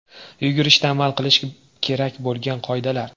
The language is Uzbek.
Yugurishda amal qilish kerak bo‘lgan qoidalar.